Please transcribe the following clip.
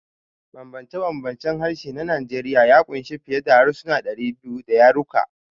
Bambance-bambancen harshe na Najeriya ya ƙunshi fiye da harsuna 200 da yaruka.